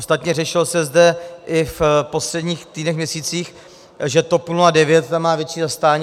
Ostatně řešilo se zde i v posledních týdnech, měsících, že TOP 09 tam má větší zastání.